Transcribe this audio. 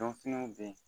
Dɔnfiniw bɛ yen